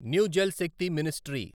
new Jal Shakti ministry